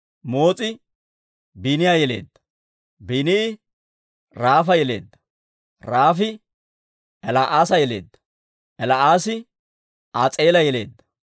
Moos'i Biini'a yeleedda; Biini'i Raafa yeleedda; Raafi El"aasa yeleedda; El"aasi As'eela yeleedda.